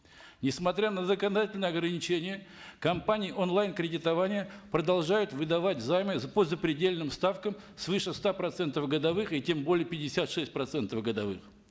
несмотря на законодательные ограничения компании онлайн кредитования продолжают выдавать займы по запредельным ставкам свыше ста процентов годовых и тем более пятьдесят шесть процентов годовых